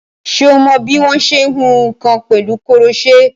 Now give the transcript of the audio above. Ṣé o mọ bí wọ́n ṣe ń hun nǹkan pẹ̀lú koroṣé?